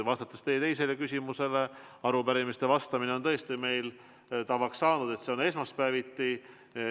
Vastates teie teisele küsimusele ma märgin, et arupärimistele vastamise puhul on tõesti meil tavaks saanud, et see on esmaspäeviti.